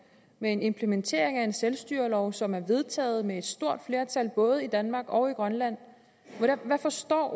med implementeringen af en selvstyrelov som er vedtaget med et stort flertal i både danmark og i grønland og hvad forstår